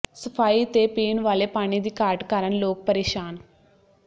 ਸਫਾਈ ਤੇ ਪੀਣ ਵਾਲੇ ਪਾਣੀ ਦੀ ਘਾਟ ਕਾਰਨ ਲੋਕ ਪ੍ਰੇਸ਼ਾਨ